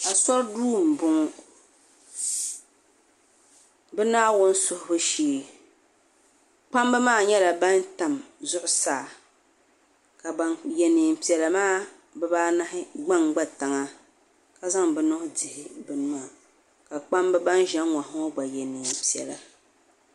Asori duu m boŋɔ bɛ naawuni suhubu shee kpamba maa nyɛla ban tam zuɣusaa ka ban ye niɛn'piɛla maa bɛ baanahi gbangba tiŋa ka zaŋ bɛ maŋa dihi bini maa ka kpamba ban ʒɛ n ŋɔ ha maa ye niɛn'piɛla.